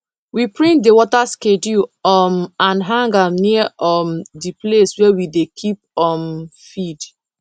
we print the water schedule um and hang am near um the place wey we dey keep um feed